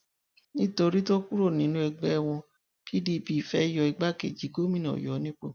nítorí tó kúrò nínú ẹgbẹ wọn pdp fee yọ igbákejì gómìnà ọyọ nípò